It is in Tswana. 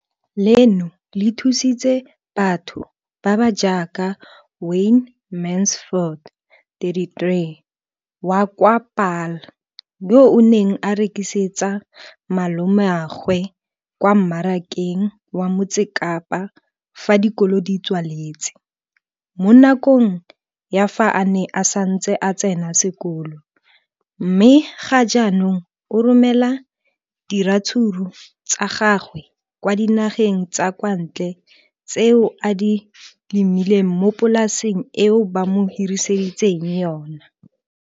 Leno le thusitse batho ba ba jaaka Wayne Mansfield, 33, wa kwa Paarl, yo a neng a rekisetsa malomagwe kwa Marakeng wa Motsekapa fa dikolo di tswaletse, mo nakong ya fa a ne a santse a tsena sekolo, mme ga jaanong o romela diratsuru tsa gagwe kwa dinageng tsa kwa ntle tseo a di lemileng mo polaseng eo ba mo hiriseditseng yona.